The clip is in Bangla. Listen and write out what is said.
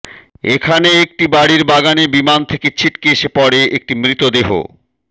এখানে একটি বাড়ির বাগানে বিমান থেকে ছিটকে এসে পড়ে একটি মৃতদেহ